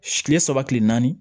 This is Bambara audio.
Kile saba kile naani